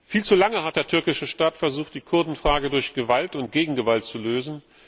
Viel zu lange hat der türkische Staat versucht, die Kurdenfrage durch Gewalt und Gegengewalt zu lösen.